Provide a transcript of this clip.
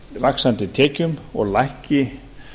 vaxandi tekjum og lækki